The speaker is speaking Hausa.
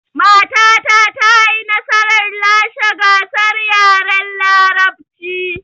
Matata ta yi nasarar lashe gasar yaren larabcin